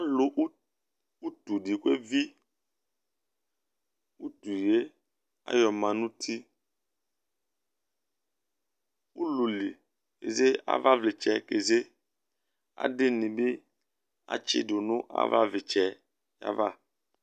Alʋ ʋtu di kʋ evi Ʋtu ye ayɔ ma nʋ ʋti Ʋlʋli eze kʋ ava vlitsɛ keze Adi ni bi atsidu nʋ ava vlitsɛ yɛ ava